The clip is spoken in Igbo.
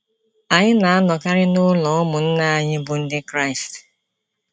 Anyị na-anọkarị n’ụlọ ụmụnna anyị bụ́ Ndị Kraịst.